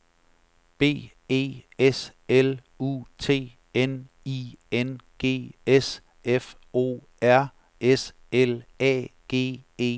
B E S L U T N I N G S F O R S L A G E T